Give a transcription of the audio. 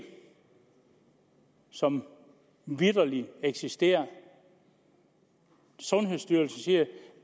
som vitterlig eksisterer sundhedsstyrelsen siger at